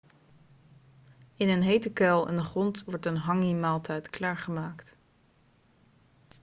in een hete kuil in de grond wordt een hangi-maaltijd klaargemaakt